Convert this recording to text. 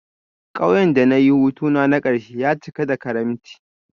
Kauyen da na yi hutuna na karshe ya cika da karimci